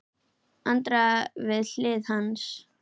Andrea við hlið hans.